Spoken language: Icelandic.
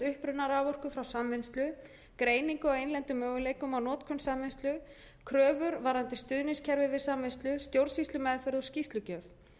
uppruna raforku frá samvinnslu greiningu á innlendum möguleikum á notkun samvinnslu kröfur varðandi stuðningskerfi við samvinnslu stjórnsýslumeðferð og skýrslugjöf